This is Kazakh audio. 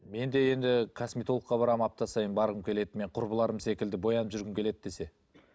мен де енді косметологқа барамын апта сайын барғым келеді мен құрбыларым секілді боянып жүргім келеді десе